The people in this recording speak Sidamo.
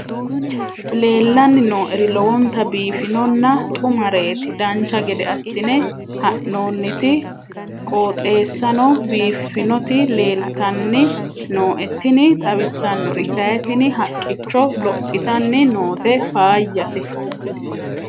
leellanni nooeri lowonta biiffinonna xumareeti dancha gede assine haa'noonniti qooxeessano biiffinoti leeltanni nooe tini xawissannori kayi tini haqqicho lophitanni noote faayyate